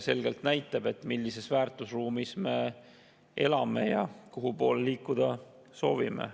See näitab selgelt, millises väärtusruumis me elame ja kuhu poole liikuda soovime.